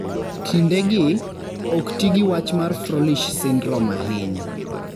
Kindegi, ok ti gi wach mar Froelich syndrome ahinya.